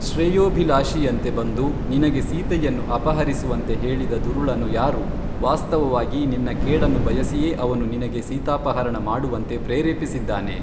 ಶ್ರೇಯೋಭಿಲಾಷಿಯಂತೆ ಬಂದು ನಿನಗೆ ಸೀತೆಯನ್ನು ಅಪಹರಿಸುವಂತೆ ಹೇಳಿದ ದುರುಳನು ಯಾರು ವಾಸ್ತವವಾಗಿ ನಿನ್ನ ಕೇಡನ್ನು ಬಯಸಿಯೇ ಅವನು ನಿನಗೇ ಸೀತಾಪಹರಣ ಮಾಡುವಂತೆ ಪ್ರೇರೇಪಿಸಿದ್ದಾನೆ